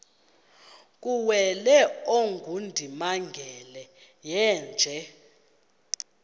kuwele ongundimangele yeenje